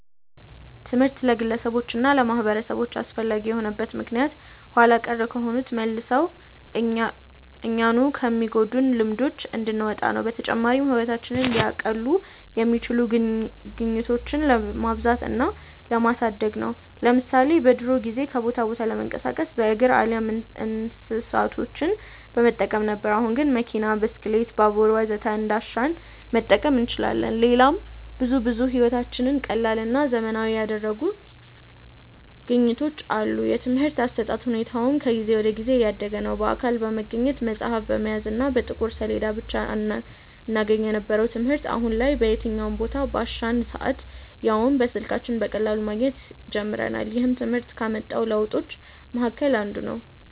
ትምህርት ለግለሰቦች እና ለማህበረሰቦች አስፈላጊ የሆነበት ምክንያት ኋላ ቀር ከሆኑና መልሰው እኛኑ ከሚጎዱን ልማዶች እንድንወጣ ነው። በተጨማሪም ህይወታችንን ሊያቀሉ የሚችሉ ግኝቶችን ለማብዛት እና ለማሳደግ ነው። ለምሳሌ በድሮ ጊዜ ከቦታ ቦታ ለመንቀሳቀስ በእግር አሊያም እንስሳቶችን በመጠቀም ነበር። አሁን ግን መኪና፣ ብስክሌት፣ ባቡር ወዘተ እንዳሻን መጠቀም እንችላለን። ሌላም ብዙ ብዙ ህይወታችንን ቀላልና ዘመናዊ ያደረጉልን ግኝቶች አሉ። የትምርህት አሰጣጥ ሁኔታውም ከጊዜ ወደ ጊዜ እያደገ ነዉ። በአካል በመገኘት፣ መፅሀፍ በመያዝ እና በጥቁር ሰሌዳ ብቻ እናገኘው የነበረውን ትምህርት አሁን ላይ በየትኛውም ቦታ፣ ባሻን ሰአት ያውም በስልካችን በቀላሉ ማግኘት ጀምረናል። ይህም ትምህርት ካመጣው ለውጦች መሀከል አንዱ ነው።